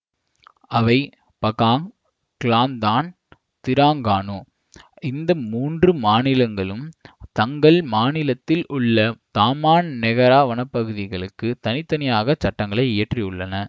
அவை பகாங் Kelantan Terengganu இந்த மூன்று மாநிலங்களும் தங்கள் மாநிலத்தில் உள்ள தாமான் நெகாரா வனப்பகுதிகளுக்குத் தனித்தனியாகச் சட்டங்களை இயற்றியுள்ளன